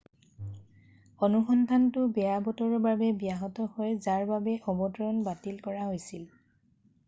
অনুসন্ধানটো বেয়া বতৰৰ বাবে ব্যাহত হয় যাৰ বাবে অৱতৰণ বাতিল কৰা হৈছিল